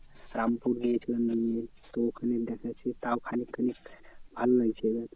রামপুর গিয়েছিলাম নিয়ে। তো ওখানে দেখাচ্ছি তাও খানিক খানিক ভালো লাগছিল।